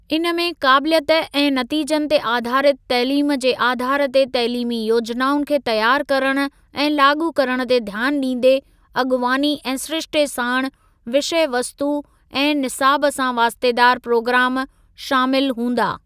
इन में काबिलियत ऐं नतीजनि ते आधारित तइलीम जे आधार ते तइलीमी योजनाउनि खे तयारु करण ऐं लाॻू करण ते ध्यानु ॾींदे अॻुवानी ऐं सिरिश्ते साणु विषयवस्तु ऐं निसाब सां वास्तेदार प्रोग्राम शामिल हूंदा ।